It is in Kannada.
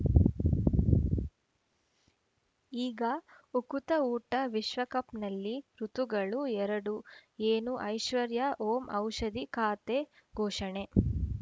ಈಗ ಉಕುತ ಊಟ ವಿಶ್ವಕಪ್‌ನಲ್ಲಿ ಋತುಗಳು ಎರಡು ಏನು ಐಶ್ವರ್ಯಾ ಓಂ ಔಷಧಿ ಖಾತೆ ಘೋಷಣೆ